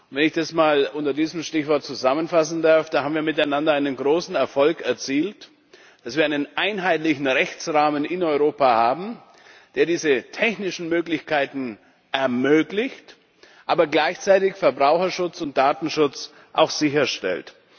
Wenn ich das mal unter diesem Stichwort zusammenfassen darf Da haben wir miteinander einen großen Erfolg erzielt, dass wir einen einheitlichen Rechtsrahmen in Europa haben, der diese technischen Möglichkeiten ermöglicht, aber gleichzeitig auch Verbraucherschutz und Datenschutz sicherstellt.